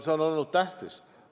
See on olnud tähtis.